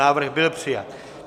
Návrh byl přijat.